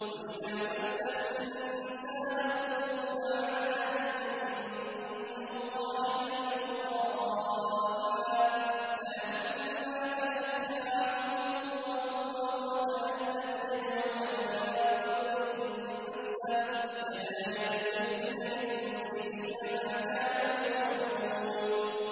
وَإِذَا مَسَّ الْإِنسَانَ الضُّرُّ دَعَانَا لِجَنبِهِ أَوْ قَاعِدًا أَوْ قَائِمًا فَلَمَّا كَشَفْنَا عَنْهُ ضُرَّهُ مَرَّ كَأَن لَّمْ يَدْعُنَا إِلَىٰ ضُرٍّ مَّسَّهُ ۚ كَذَٰلِكَ زُيِّنَ لِلْمُسْرِفِينَ مَا كَانُوا يَعْمَلُونَ